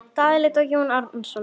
Daði leit á Jón Arason.